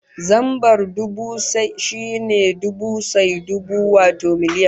Zambar dubu shine dubu sai dubu, wato miliyan